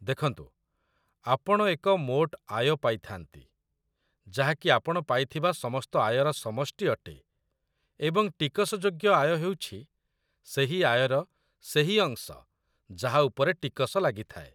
ଦେଖନ୍ତୁ, ଆପଣ ଏକ ମୋଟ ଆୟ ପାଇଥାନ୍ତି, ଯାହାକି ଆପଣ ପାଇଥିବା ସମସ୍ତ ଆୟର ସମଷ୍ଟି ଅଟେ, ଏବଂ ଟିକସଯୋଗ୍ୟ ଆୟ ହେଉଛି ସେହି ଆୟର ସେହି ଅଂଶ ଯାହା ଉପରେ ଟିକସ ଲାଗିଥାଏ।